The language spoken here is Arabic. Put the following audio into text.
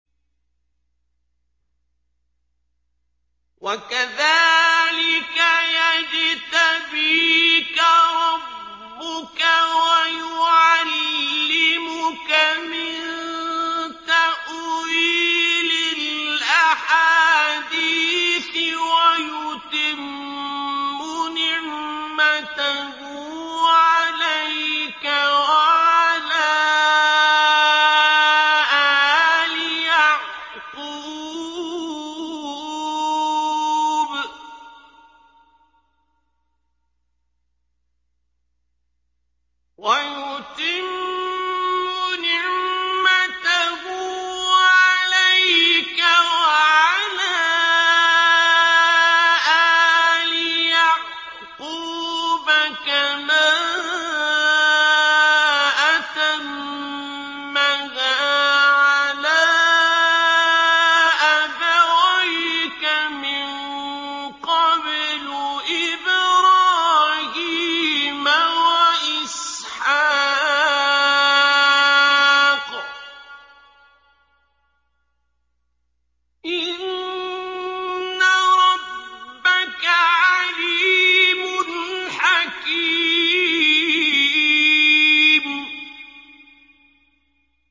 وَكَذَٰلِكَ يَجْتَبِيكَ رَبُّكَ وَيُعَلِّمُكَ مِن تَأْوِيلِ الْأَحَادِيثِ وَيُتِمُّ نِعْمَتَهُ عَلَيْكَ وَعَلَىٰ آلِ يَعْقُوبَ كَمَا أَتَمَّهَا عَلَىٰ أَبَوَيْكَ مِن قَبْلُ إِبْرَاهِيمَ وَإِسْحَاقَ ۚ إِنَّ رَبَّكَ عَلِيمٌ حَكِيمٌ